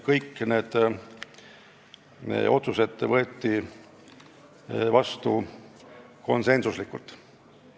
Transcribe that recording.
Kõik otsused võeti vastu konsensuslikult.